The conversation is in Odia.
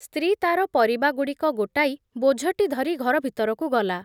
ସ୍ତ୍ରୀ ତା'ର ପରିବାଗୁଡ଼ିକ ଗୋଟାଇ ବୋଝଟି ଧରି ଘର ଭିତରକୁ ଗଲା ।